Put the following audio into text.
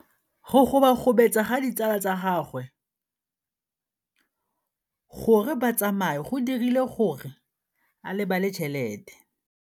Go gobagobetsa ga ditsala tsa gagwe, gore ba tsamaye go dirile gore a lebale tšhelete.